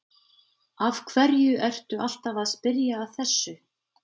Af hverju ertu alltaf að spyrja að þessu?